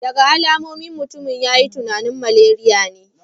Daga alamomin, mutumin ya yi tunanin maleriya ne